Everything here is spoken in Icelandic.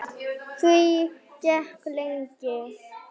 Því gekk lengi.